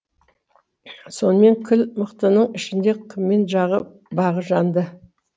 сонымен кіл мықтының ішінде кімнің бағы жанды